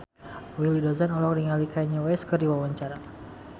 Willy Dozan olohok ningali Kanye West keur diwawancara